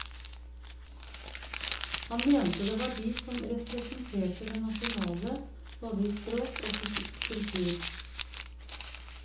Han mente det var de som representerte det nasjonale, både i språk og kultur.